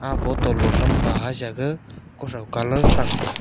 ag botolo thampa jaisa gag kothon colour thang taga.